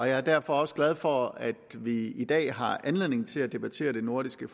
er derfor også glad for at vi i dag har anledning til at debattere det nordiske